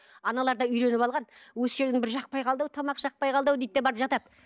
аналар да үйреніп алған жақпай қалды ау тамақ жақпай қалды ау дейді де барып жатады